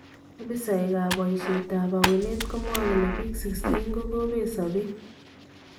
Opisaek ab boyishet ab aweneet komwae kole biik 16 kokabeet sabeet .